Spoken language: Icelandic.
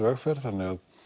vegferð